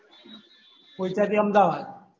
પોઈચા થી અમદાવાદ